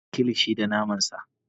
Ana yin Kilishi da naman sa